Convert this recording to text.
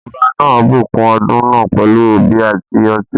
Ọba náà bùkún ọdún náà pẹ̀lú obì àti ọtí.